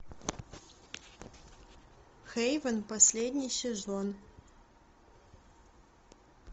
хейвен последний сезон